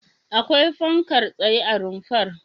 Akwai fankar tsaye a rumfar?